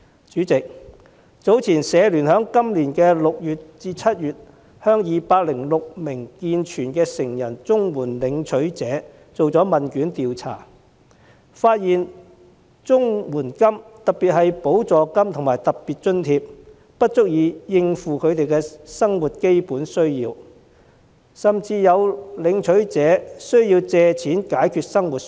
主席，香港社會服務聯會在去年6月至7月向206名健全成人綜援申領人進行問卷調查，發現綜援金——特別是補助金及特別津貼——不足以應付基本的生活需要，甚至有申領人需要借貸來解決生活所需。